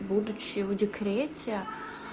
будучи в декрете